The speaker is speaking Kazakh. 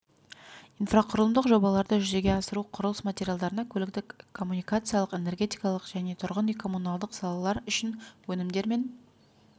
инфрақұрылымдық жобаларды жүзеге асыру құрылыс материалдарына көліктік-коммуникациялық энергетикалық және тұрғын үй-коммуналдық салалар үшін өнімдер мен